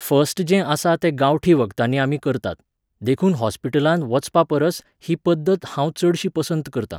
First जें आसा ते गांवठी वखदांनी आमी करतात, देखून हॉस्पिटलांत वचपापरस ही पद्दत हांव चडशीं पसंत करतां.